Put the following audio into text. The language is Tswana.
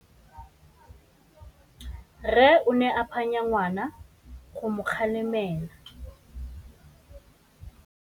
Rre o ne a phanya ngwana go mo galemela.